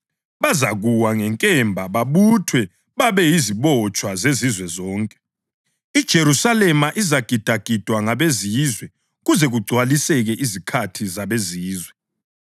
Bazakuwa ngenkemba babuthwe babe yizibotshwa zezizwe zonke. IJerusalema izagidagidwa ngabeZizwe kuze kugcwaliseke izikhathi zabeZizwe.